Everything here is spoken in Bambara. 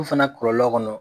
u fana kɔlɔlɔ kɔnɔ.